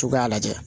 Cogoya lajɛ